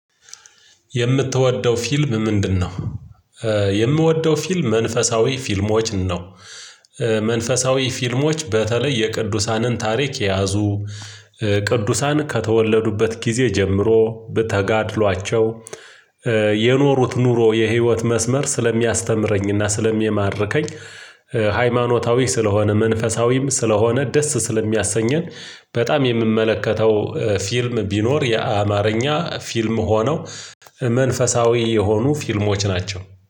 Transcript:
የምትወደው ፊልም ምንድነው? የምወደው ፊልም መንፈሳዊ ፊልሞች ነው። መንፈሳዊ ፊልሞች በተለይ የቅዱሳንን ታሪክ የያዙ ቅዱሳን ከተወለዱበት ጊዜ ጀምሮ በተጋድሏቸው የኖሩት ኑሮ የህይወት መስመር ስለሚያስተምረኝና ስለሚማርከኝ። ሃይማኖታዊ ስለሆነ መንፈሳዊም ስለሆነ ደስ ስለሚያሰኘን በጣም የምመለከተው ፊልም ቢኖር የአማርኛ ፊልም ሆነው መንፈሳዊ የሆኑ ፊልሞች ናቸው